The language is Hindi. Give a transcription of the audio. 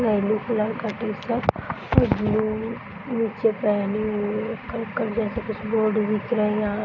येलो कलर का टी-शर्ट और ब्लू नीचे पहने हुए जैसे कुछ बोर्ड दिख रहे यहाँ --